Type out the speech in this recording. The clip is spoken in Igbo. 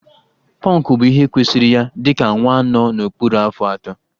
Pọnkụ bụ ihe kwesịịrị ya dịka nwa nọ n'okpuru afọ atọ